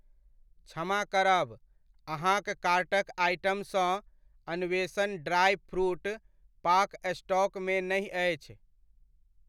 क्षमा करब, अहाँक कार्टक आइटमसँ अन्वेषण ड्राइ फ्रूट पाक स्टॉक मे नहि अछि।